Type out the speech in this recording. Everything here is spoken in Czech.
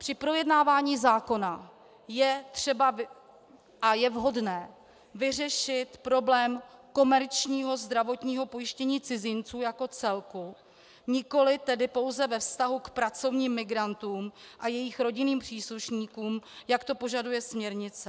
Při projednávání zákona je třeba a je vhodné vyřešit problém komerčního zdravotního pojištění cizinců jako celku, nikoli tedy pouze ve vztahu k pracovním migrantům a jejich rodinným příslušníkům, jak to požaduje směrnice.